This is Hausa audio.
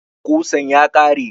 Ƙusan ya ƙare